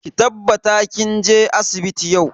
Ki tabbatar kin je asibiti yau.